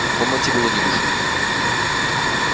в комнате было ни души